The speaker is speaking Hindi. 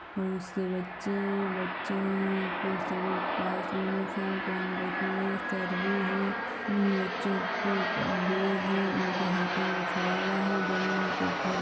फूल से बच्चे हैबच्चों ओं के पास सभी यूनिफॉर्म पहन रखी है सर् भी है इन बच्चों के ऊपर है इनके हाथों मे फावड़ा है जमीन को खोद